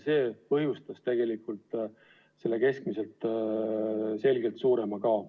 See põhjustas tegelikult keskmisest selgelt suurema kao.